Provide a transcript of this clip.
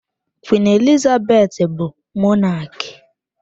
Queen Elizabeth bu Mọnaki.